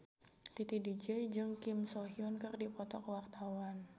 Titi DJ jeung Kim So Hyun keur dipoto ku wartawan